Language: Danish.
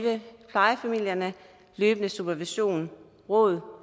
plejefamilierne løbende supervision råd